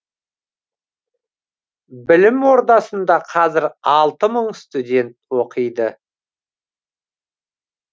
білім ордасында қазір алты мың студент оқиды